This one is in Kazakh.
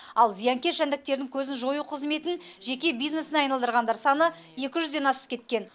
ал зиянкес жәндіктердің көзін жою қызметін жеке бизнесіне айналдырғандар саны екі жүзден асып кеткен